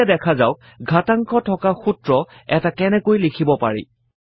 এতিয়া দেখা যাওক ঘাতাংক থকা সূত্ৰ এটা কেনেকৈ লিখিব পাৰি